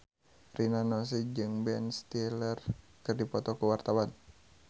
Rina Nose jeung Ben Stiller keur dipoto ku wartawan